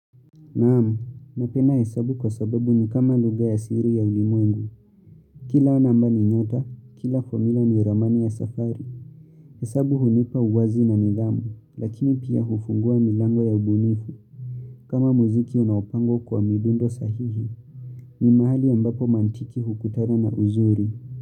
Naam, napenda hesabu kwa sababu ni kama lugha ya siri ya ulimwengu. Kila namba ni nyota, kila formula ni ramani ya safari. Hesabu hunipa uwazi na nidhamu, lakini pia hufungua milango ya ubunifu. Kama muziki unaopangwa kwa midundo sahihi, ni mahali ambapo mantiki hukutana na uzuri.